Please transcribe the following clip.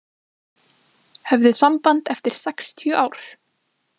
Höfðu samband eftir sextíu ár